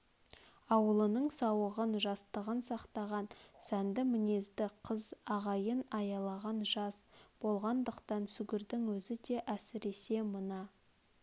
аулының сауығын жастығын сақтаған сәнді мінезді қыз ағайын аялаған жас болғандықтан сүгірдің өзі де әсіресе мына